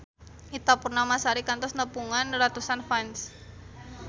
Ita Purnamasari kantos nepungan ratusan fans